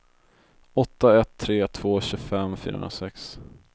åtta ett tre två tjugofem fyrahundrasex